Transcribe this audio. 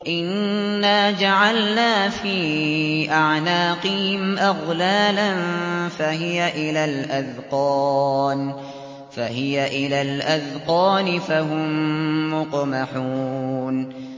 إِنَّا جَعَلْنَا فِي أَعْنَاقِهِمْ أَغْلَالًا فَهِيَ إِلَى الْأَذْقَانِ فَهُم مُّقْمَحُونَ